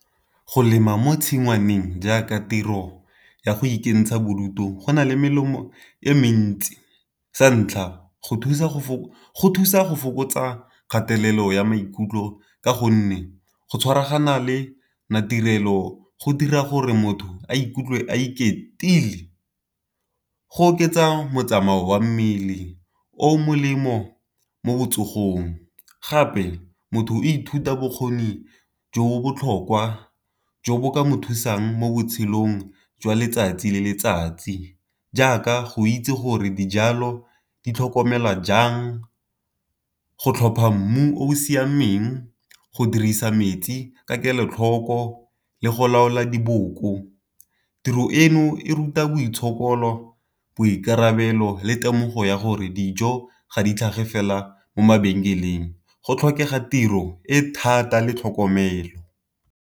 Go lema mo tshingwaneng jaaka tiro ya go ikentsha bodutu go na le melemo e mentsi sa ntlha go thusa go fokotsa kgatelelo ya maikutlo ka gonne go tshwaragana le maitirelo go dira gore motho a ikutlwe a iketlile, go oketsa motsamao wa mmele o molemo mo botsogong. Gape motho ithuta bokgoni jo botlhokwa jo bo ka mo thusang mo botshelong jwa letsatsi le letsatsi. Jaaka go itse gore dijalo di tlhokomelwa jang, go tlhopha mmu o o siameng, go dirisa metsi ka kelotlhoko le go laola diboko. Tiro eno e ruta boitshokolo, boikarabelo le temogo ya gore dijo ga di tlhage fela mo mabenkeleng go tlhokega tiro e thata le tlhokomelo.